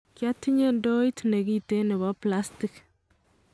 "Kiotinye ndoit nekiten nebo plastik."